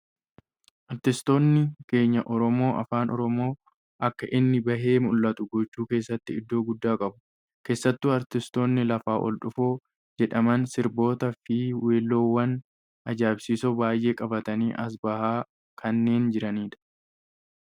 Artistoonni keenya Oromoo afaan Oromoo akka inni bahee mul'atu gochuu keessatti iddoo guddaa qabu. Keessattuu artistoonni lafaa ol dhufoo jedhaman sirboota fi weelleewwan ajaa'ibsiisoo baayyee qabatanii as bahaa kanneen jiranidha.